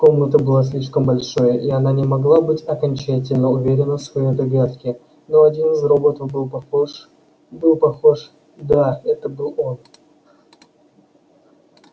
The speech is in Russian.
комната была слишком большой и она не могла быть окончательно уверена в своей догадке но один из роботов был похож был похож да это был он